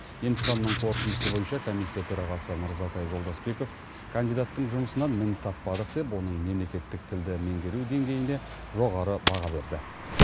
емтиханның қорытындысы бойынша комиссия төрағасы мырзатай жолдасбеков кандидаттың жұмысынан мін таппадық деп оның мемлекеттік тілді меңгеру деңгейіне жоғары баға берді